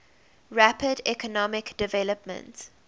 rapid economic development